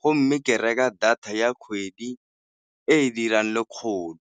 go mme ke reka data ya kgwedi e e dirang lekgolo.